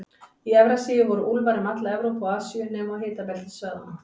Í Evrasíu voru úlfar um alla Evrópu og Asíu, nema á hitabeltissvæðunum.